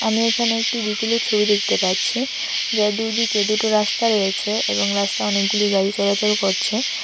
আমি এখানে একটি বিকেলের ছবি দেখতে পাচ্ছি যার দুইদিকে দুটো রাস্তা রয়েছে এবং রাস্তায় অনেকগুলি গাড়ি চলাচল করছে।